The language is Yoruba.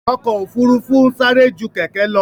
Ọkò òfurufú ń sárẹ́ jú kẹ̀kẹ́ lọ.